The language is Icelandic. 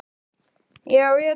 Sæunn fórnar höndum.